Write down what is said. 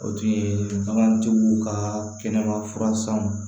O tun ye bagantigiw ka kɛnɛba furan sanw